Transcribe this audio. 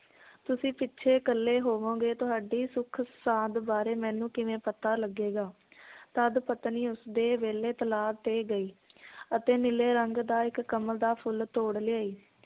ਤੁਸੀਂ ਪਿਛੇ ਇਕੱਲੇ ਹੋਵੋਂਗੇ ਤੁਹਾਡੀ ਸੁਖ ਸਾਂਦ ਬਾਰੇ ਮੈਨੂੰ ਕਿਵੇਂ ਪਤਾ ਲੱਗੇਗਾ ਤਦ ਪਤਨੀ ਉਸਦੇ ਵੇਲੇ ਤਲਾਅ ਤੇ ਗਈ ਅਤੇ ਨੀਲੇ ਰੰਗ ਦਾ ਇੱਕ ਕਮਲ ਦਾ ਫੁਲ ਤੋੜ ਲਿਆਈ